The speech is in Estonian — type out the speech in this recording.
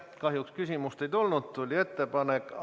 Kahjuks küsimust ei tulnud, tuli ettepanek.